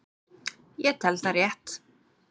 Ég tel það rétt.